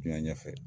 Diɲɛ ɲɛfɛ